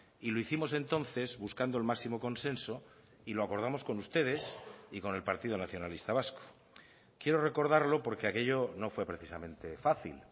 y lo hicimos entonces buscando el máximo consenso y lo acordamos con ustedes y con el partido nacionalista vasco quiero recordarlo porque aquello no fue precisamente fácil